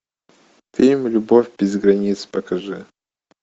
фильм любовь без границ покажи